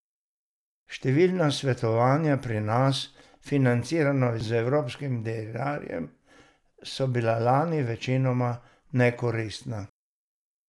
Številna svetovanja pri nas, financirana z evropskim denarjem, so bila lani večinoma nekoristna.